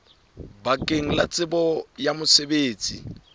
bakeng la tsebo ya mosebetsi